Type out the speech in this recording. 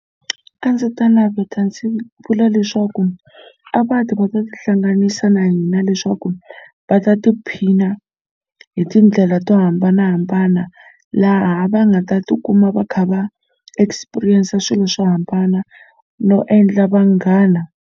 A ndzi ta naveta ndzi vula leswaku a va ti va ta tihlanganisa na hina leswaku va ta tiphina hi tindlela to hambanahambana laha va nga ta tikuma va kha va experience swilo swo hambana no endla vanghana.